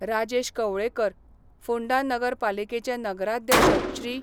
राजेश कवळेकर, फोंडा नगरपालिकेचे नगराध्यक्ष श्री.